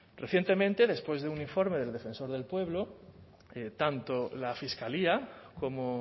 recientemente después de un informe del defensor del pueblo tanto la fiscalía como